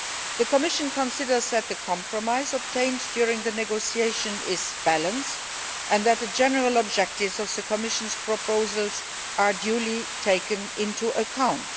The Commission considers that the compromise obtained during the negotiation is balanced and that the general objectives of the Commission's proposals are duly taken into account.